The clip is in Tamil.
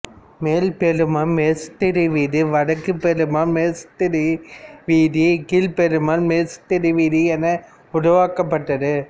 மேலப்பெருமாள் மேஸ்திரிவீதி வடக்குபெருமாள்மேஸ்திரி வீதி கீழப்பெருமாள்மேஸ்திரி வீதி என உருவாக்கப்பட்டது